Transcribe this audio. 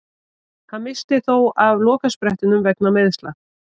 Hann missti þó af lokasprettinum vegna meiðsla.